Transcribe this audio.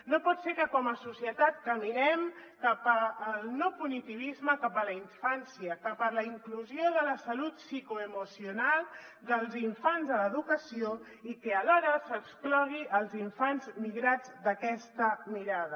no pot ser que com a societat caminem cap al no punitivisme cap a la infància cap a la inclusió de la salut psicoemocional dels infants a l’educació i que alhora s’exclogui els infants migrats d’aquesta mirada